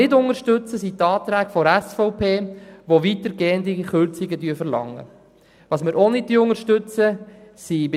Die Anträge der SVP, die weitergehende Kürzungen verlangen, unterstützen wir nicht.